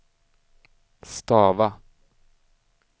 stava